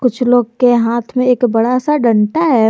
कुछ लोग के हाथ में एक बड़ा सा डंडा है।